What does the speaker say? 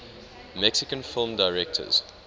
mexican film directors